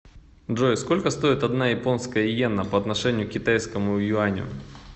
джой сколько стоит одна японская йена по отношению к китайскому юаню